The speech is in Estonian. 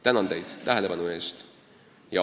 Tänan tähelepanu eest!